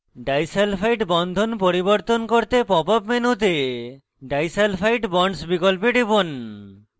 disulphide বন্ধন পরিবর্তন করতে pop মেনুতে disulfide bonds বিকল্পে খুলুন